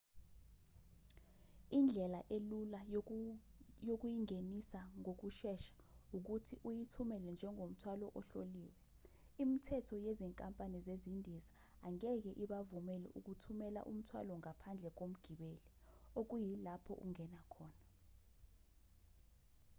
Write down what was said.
indlela elula yokuyingenisa ngokushesha ukuthi uyithumele njengomthwalo ohloliwe imithetho yezinkampani zezindiza angeke ibavumele ukuthumela umthwalo ngaphandle komgibeli okuyilapho ungena khona